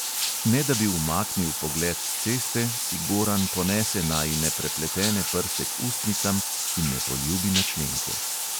Ne da bi umaknil pogled s ceste, si goran ponese najine prepletene prste k ustnicam in me poljubi na členke.